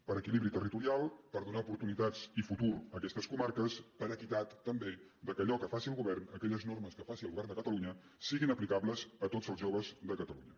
per equilibri territo rial per donar oportunitats i futur a aquestes comarques per equitat també perquè allò que faci el govern aquelles normes que faci el govern de catalunya siguin aplicables a tots els joves de catalunya